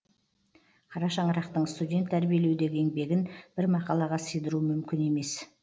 қара шаңырақтың студент тәрбиелеудегі еңбегін бір мақалаға сыйдыру мүмкін емес